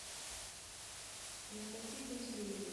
анастасии пантелеевой